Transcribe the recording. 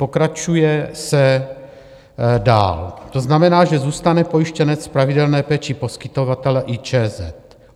Pokračuje se dál, to znamená, že zůstane pojištěnec v pravidelné péči poskytovatele IČZ."